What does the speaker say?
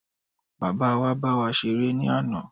Bàbáa wa bá wa ṣeré ní àná.